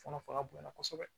Kɔnɔ fanga bonya kosɛbɛ